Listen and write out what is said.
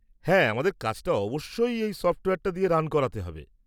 হ্যাঁ, আমাদের কাজটা অবশ্যই এই সফ্টওয়্যারটা দিয়ে রান করাতে হবে।